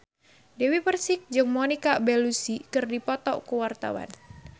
Dewi Persik jeung Monica Belluci keur dipoto ku wartawan